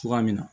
Cogoya min na